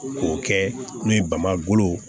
K'o kɛ n'o ye bamakɔ